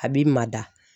A b'i mada